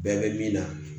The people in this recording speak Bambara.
Bɛɛ bɛ min na